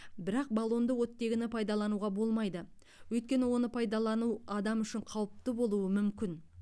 бірақ баллонды оттегіні пайдалануға болмайды өйткені оны пайдалану адам үшін қауіпті болуы мүмкін